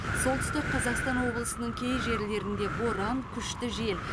солтүстік қазақстан облысының кей жерлерінде боран күшті жел